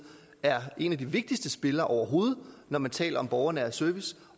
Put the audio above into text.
er en af de vigtigste spillere overhovedet når man taler om borgernær service